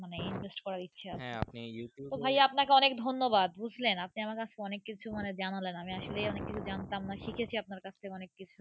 মানে Invest করার ইচ্ছে Youtub ভাই আপনাকে অনেক ধোন ব্যাড বুজলেন আপনি আমার কাছথেকে জানলাম আমি আসলে অনেক কিছু জানতাম না শিখেছি আপনার কাছ থাকে অনেককিছু।